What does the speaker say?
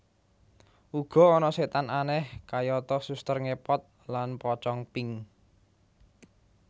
Uga ana setan aneh kayata suster ngepot lan pocong pink